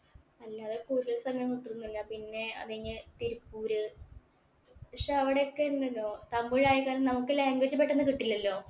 അല്ലാതെ കൂടുതല് സമയം ഇട്ടിരുന്നില്ല. പിന്നെ അത് കഴിഞ്ഞു തിരുപ്പൂര് പക്ഷേ അവിടെയൊക്കെ ഉണ്ടല്ലോ തമിഴായത് കാരണം നമുക്ക് language പെട്ടെന്ന് കിട്ടില്ലല്ലോ.